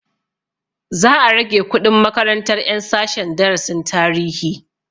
Za a rage kuɗin makarantar ƴan sashen darasin tarihi